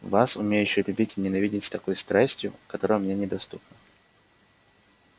вас умеющую любить и ненавидеть с такой страстью которая мне недоступна